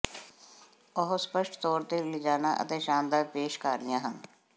ਉਹ ਸਪੱਸ਼ਟ ਤੌਰ ਤੇ ਲਿਜਾਣਾ ਅਤੇ ਸ਼ਾਨਦਾਰ ਪੇਸ਼ਕਾਰੀਆਂ ਹਨ